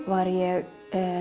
var ég